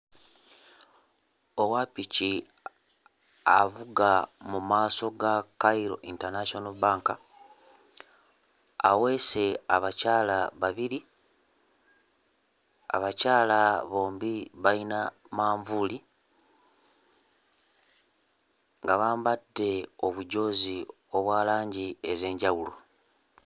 Owa ppiki avuga mu maaso ga Cairo International Bank aweese abakyala babiri abakyala bombi bayina manvuuli nga bambadde obujoozi obwa langi ez'enjawulo.